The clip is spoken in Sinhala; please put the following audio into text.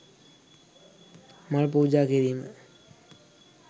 මල් පූජා කිරීම